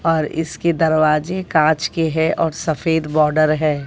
और इसके दरवाजे कांच के है और सफेद बॉर्डर है।